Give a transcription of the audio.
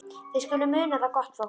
Þið skuluð muna það, gott fólk,